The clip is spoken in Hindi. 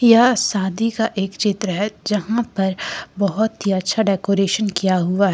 यह शादी का एक चित्र है जहां पर बहुत ही अच्छा डेकोरेशन किया हुआ है।